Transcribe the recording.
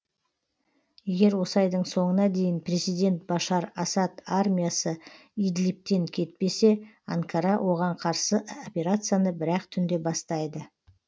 егер осы айдың соңына дейін президент башар асад армиясы идлибтен кетпесе анкара оған қарсы операцияны бір ақ түнде бастайды